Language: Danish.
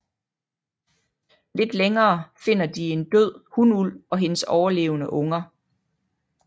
Lidt længere finder de en død hunulv og hendes overlevende unger